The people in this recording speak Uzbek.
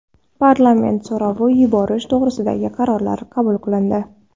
Parlament so‘rovi yuborish to‘g‘risidagi qarorlar qabul qilindi.